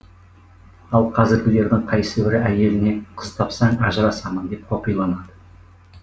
ал қазіргілердің қайсыбірі әйеліне қыз тапсаң ажырасамын деп қоқиланады